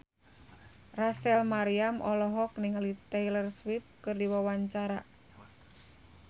Rachel Maryam olohok ningali Taylor Swift keur diwawancara